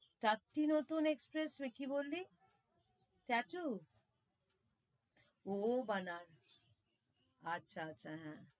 চারটে নতুন expressway কি বললি? আচ্ছা, আচ্ছা হেঁ,